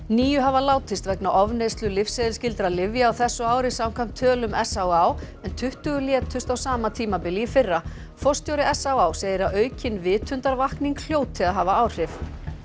níu hafa látist vegna ofneyslu lyfseðilsskyldra lyfja á þessu ári samkvæmt tölum s á á en tuttugu létust á sama tímabili í fyrra forstjóri s á á segir að aukin vitundarvakning hljóti að hafa áhrif